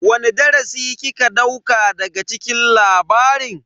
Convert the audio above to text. Wani darasi kika dauka daga cikin labarin?